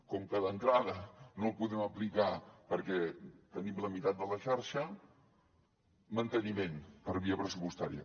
com que d’entrada no el podem aplicar perquè tenim la meitat de la xarxa manteniment per via pressupostària